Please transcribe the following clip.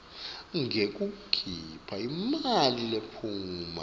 ngekukhipha imali lephuma